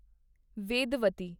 Vedavati